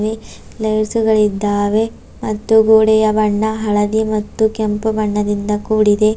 ಇವೆ ಲೈಟ್ಸುಗಳಿದ್ದಾವೆ ಮತ್ತು ಗೋಡೆಯ ಬಣ್ಣ ಹಳದಿ ಮತ್ತು ಕೆಂಪು ಬಣ್ಣದಿಂದ ಕೂಡಿದೆ.